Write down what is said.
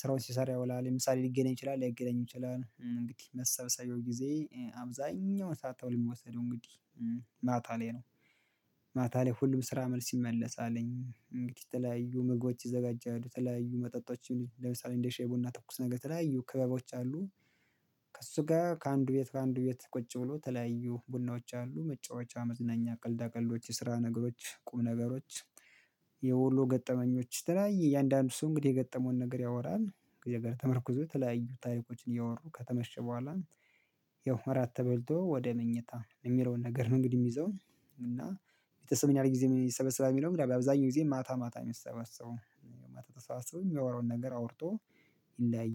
ስራውን ሲሰራ ያውላል ለምሳሌ ሊገናኝ ይችላል ላይገናኝ ይችላል እንግዲህ መሰብሰቢያው ጊዜ አብዛኛውን ሰዓት ተብሎ የሚወሰደው እንግዲህ ማታ ላይ ነው። ማታ ላይ ሁሉም ስራ መልስ ይመለሳልኝ እንግዲህ የተለያዩ ምግቦች ይዘጋጃል ተለያዩ መጠጦች ለምሳሌ እንደ ሻይ ቡና ትኩስ ነገር የተለያዩ ክበቦች አሉ። ከእሱ ጋር ከአንዱ ቤት ከአንዱ ቤት ቁጭ ብሎ ተለያዩ ቡናዎች አሉ መጫወቻ መዝናኛ ቀልዳ ቀልዶች የስራ ነገሮች ቁም ነገሮች የወሎ ገጠመኞች የተለያየ እያንዳንዱ ሰው እንግዲህ የገጠመውን ነገር ያወራል። ነገር ተመርኩዞ ተለያዩ ታሪኮችን እያወሩ ከተመሸ በኋላ ያው እራት ተበልቶ ወደ መኝታ የሚለውን ነገር ነው። እንግዲህ የሚይዘው እና ቤተሰብ ምን ያህል ጊዜ ይሰበሰባል? የሚለው በአብዛኛው ጊዜ ማታ ማታ የሚሰበሰበው ማታ ተሰባሰበው የሚያወራውን ነገር አውርቶ ይለያያል